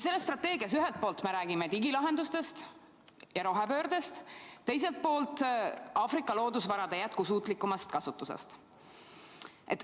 Selles strateegias ühelt poolt me räägime digilahendustest ja rohepöördest, teiselt poolt Aafrika loodusvarade jätkusuutlikumast kasutusest.